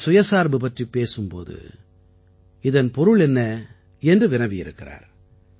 நாம் தற்சார்பு பற்றிப் பேசும் போது இதன் பொருள் என்ன என்று வினவியிருக்கிறார்